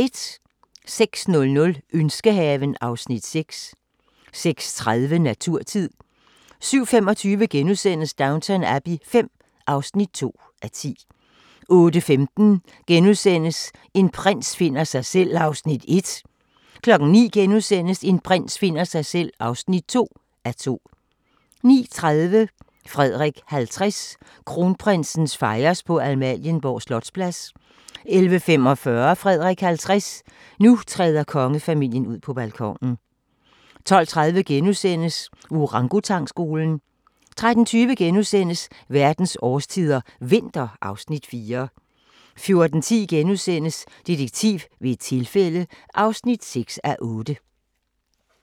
06:00: Ønskehaven (Afs. 6) 06:30: Naturtid 07:25: Downton Abbey V (2:10)* 08:15: En prins finder sig selv (1:2)* 09:00: En prins finder sig selv (2:2)* 09:30: Frederik 50: Kronprinsen fejres på Amalienborg Slotsplads 11:45: Frederik 50: Nu træder kongefamilien ud på balkonen 12:30: Orangutangskolen * 13:20: Verdens årstider – vinter (Afs. 4)* 14:10: Detektiv ved et tilfælde (6:8)*